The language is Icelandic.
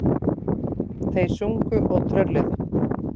Þeir sungu og trölluðu.